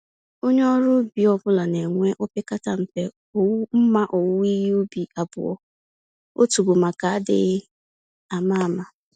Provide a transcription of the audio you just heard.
Onye ọrụ ubi ọ bụla na enwe opekata mpe mmá owuwe ihe ubi abụọ - otu bụ maka adịghị àmà-àmà